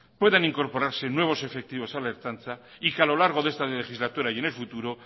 puedan incorporarse nuevos efectivos a la ertzaintza y que a lo largo de esta legislatura y en el futuro